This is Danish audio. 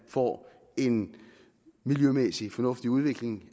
får en miljømæssigt fornuftig udvikling